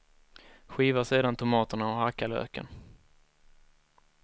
Skiva sedan tomaterna och hacka löken.